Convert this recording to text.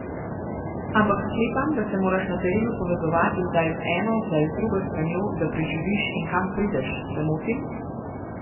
Ampak sklepam, da se moraš na terenu povezovati zdaj z eno, zdaj z drugo stranjo, da preživiš in kam prideš, se motim?